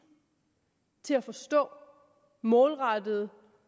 til at forstå målrettede